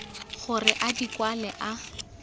gore a di kwale a